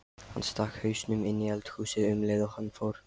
Hann stakk hausnum inní eldhúsið um leið og hann fór.